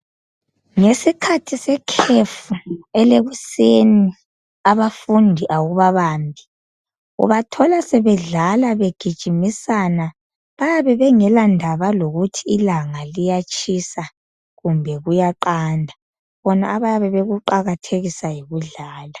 Ngesikhathi sekhefu ,elekuseni abafundi awubabambi. Ubathola sebedlala begijimisana. Bayabe bengelandaba lokuthi ilanga liyatshisa kumbe kuyaqanda, bona abayabe bekuqakathekisa yikudlala.